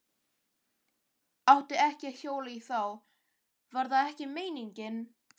Átti ekki að hjóla í þá. var það ekki meiningin?